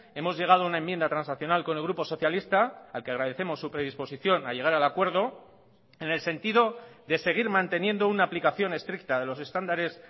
hemos llegado a una enmienda transaccional con el grupo socialista al que agradecemos su predisposición a llegar al acuerdo en el sentido de seguir manteniendo una aplicación estricta de los estándares